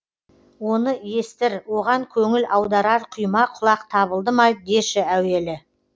оны естір оған көңіл аударар құйма құлақ табылды ма деші әуелі